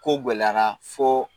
Ko gɛlɛyara fo